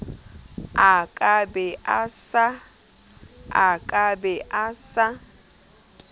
a ka be a sa